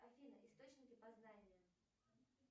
афина источники познания